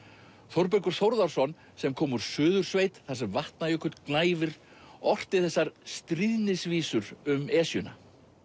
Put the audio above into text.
Þórbergur Þórðarson sem kom úr Suðursveit þar sem Vatnajökull gnæfir orti þessar um Esjuna